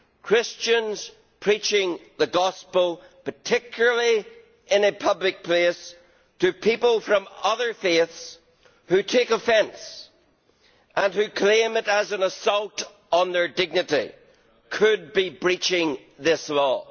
Christians preaching the gospel, particularly in a public place to people of other faiths who take offence and who claim it is an assault on their dignity, could be breaching this law.